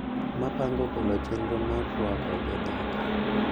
Ma pango golo chenro mar rwako jodak